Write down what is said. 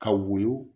Ka woyo